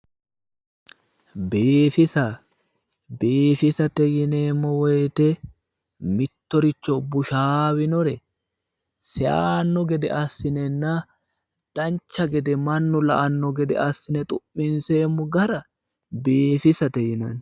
Biifisa, biifisate yineemmo woyte mittoricho bushaawinore seyaanno gede assi'nenna dancha gede mannu la"anno gede assi'ne xu'minseemmo gara biifisate yinanni.